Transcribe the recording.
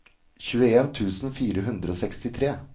tjueen tusen fire hundre og sekstitre